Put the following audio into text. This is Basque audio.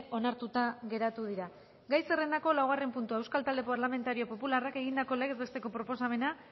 onartuta geratu dira gai zerrendako laugarren puntua euskal talde parlamentario popularrak egindako legez besteko proposamena